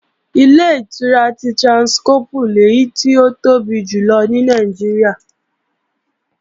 Ilé-ìtura ti Tráńskọ́pù lèyí tó tóbi jù lọ ní Nàìjíríà